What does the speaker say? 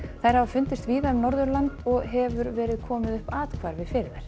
þær hafa fundist víða um Norðurland og hefur verið komið upp athvarfi fyrir þær